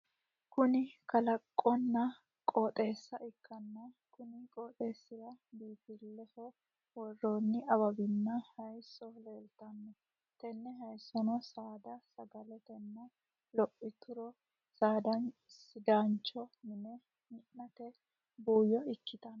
Kunni kalaqonna qooxeessa ikanna konni qooxeesira biinfileho woranni awawinna hayiso leeltano. Tenne hayisono saada saga'latenna lophituro sidaancho mine minnanni buuyo ikitano.